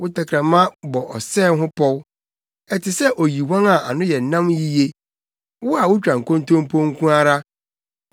Wo tɛkrɛma bɔ ɔsɛe ho pɔw; ɛte sɛ oyiwan a ano yɛ nam yiye. Wo a wutwa nkontompo nko ara.